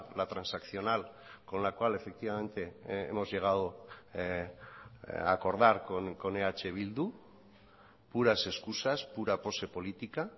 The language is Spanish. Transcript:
la transaccional con la cual efectivamente hemos llegado a acordar con eh bildu puras excusas pura pose política